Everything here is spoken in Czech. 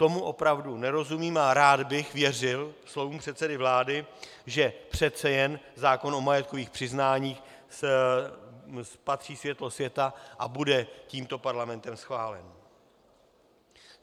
Tomu opravdu nerozumím a rád bych věřil slovům předsedy vlády, že přece jen zákon o majetkových přiznáních spatří světlo světa a bude tímto parlamentem schválen.